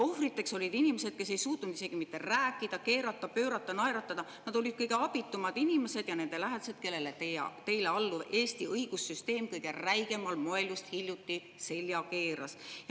Ohvriteks olid inimesed, kes ei suutnud isegi mitte rääkida, keerata, pöörata, naeratada, nad olid kõige abitumad inimesed, ja nende lähedased, kellele teile alluv Eesti õigussüsteem kõige räigemal moel just hiljuti selja keeras.